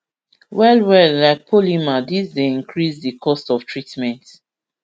well well like polymer dis dey increase di cost of treatment